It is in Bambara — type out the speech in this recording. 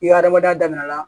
I ka adamadenya daminɛna